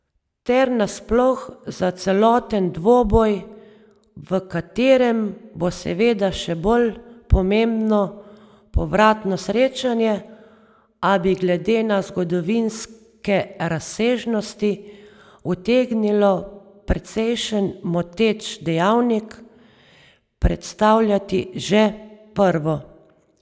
Ter nasploh za celoten dvoboj, v katerem bo seveda še bolj pomembno povratno srečanje, a bi glede na zgodovinske razsežnosti utegnilo precejšen moteč dejavnik predstavljati že prvo.